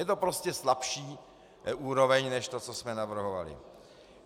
Je to prostě slabší úroveň než to, co jsme navrhovali.